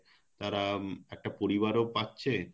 একটা পরিবার ও পাচ্ছে